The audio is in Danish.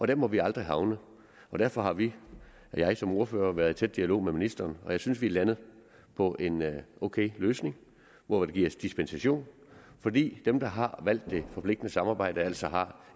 der må vi aldrig havne og derfor har vi og jeg som ordfører været i tæt dialog med ministeren jeg synes vi er landet på en ok løsning hvor der gives dispensation fordi dem der har valgt det forpligtende samarbejde altså har